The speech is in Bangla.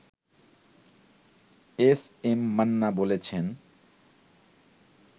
এস এম মান্না বলছেন